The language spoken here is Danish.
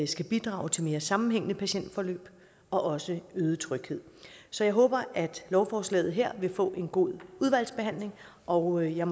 skal bidrage til mere sammenhængende patientforløb og også øget tryghed så jeg håber at lovforslaget her vil få en god udvalgsbehandling og jeg